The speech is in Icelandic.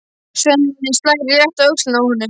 Svenni slær létt á öxlina á honum.